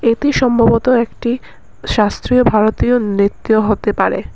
এটি সম্ভবত একটি শাস্ত্রীয় ভারতীয় নৃত্য হতে পারে।